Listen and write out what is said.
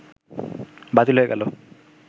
বাতিল হয়ে গেল